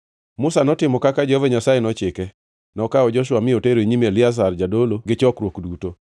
Musa notimo kaka Jehova Nyasaye nochike. Nokawo Joshua mi otero e nyim Eliazar jadolo gi chokruok duto.